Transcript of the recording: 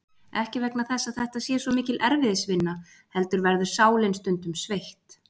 Ekki vegna þess að þetta sé svo mikil erfiðisvinna heldur verður sálin stundum sveitt.